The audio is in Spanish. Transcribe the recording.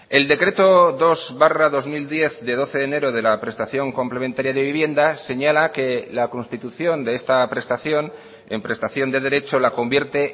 el decreto dos barra dos mil diez de doce de enero de la prestación complementaria de vivienda señala que la constitución de esta prestación en prestación de derecho la convierte